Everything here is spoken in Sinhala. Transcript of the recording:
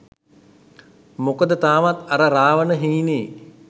මොකද තාමත් අර රාවණ හීනේ